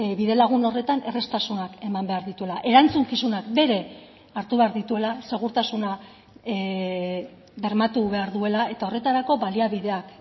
bidelagun horretan erraztasunak eman behar dituela erantzukizunak bere hartu behar dituela segurtasuna bermatu behar duela eta horretarako baliabideak